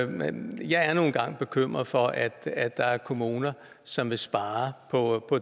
men jeg er nu engang bekymret for at at der er kommuner som vil spare på